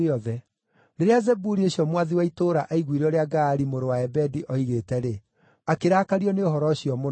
Rĩrĩa Zebuli ũcio mwathi wa itũũra aiguire ũrĩa Gaali mũrũ wa Ebedi oigĩte-rĩ, akĩrakario nĩ ũhoro ũcio mũno.